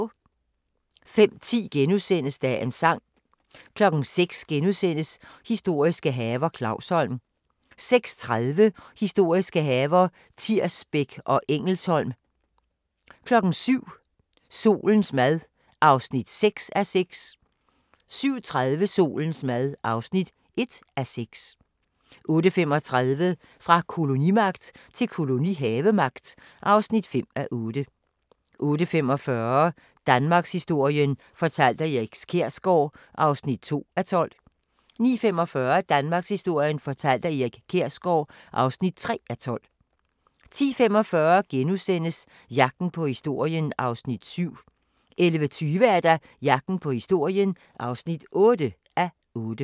05:10: Dagens sang * 06:00: Historiske haver – Clausholm * 06:30: Historiske haver – Tirsbæk og Engelsholm 07:00: Solens mad (6:6) 07:30: Solens mad (1:6) 08:35: Fra kolonimagt til kolonihavemagt (5:8) 08:45: Danmarkshistorien fortalt af Erik Kjersgaard (2:12) 09:45: Danmarkshistorien fortalt af Erik Kjersgaard (3:12) 10:45: Jagten på historien (7:8)* 11:20: Jagten på historien (8:8)